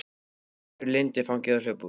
Ég greip Lindu í fangið og hljóp út.